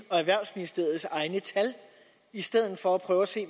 og erhvervsministeriets egne tal i stedet for at prøve at se